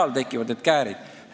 Nii tekivad need käärid.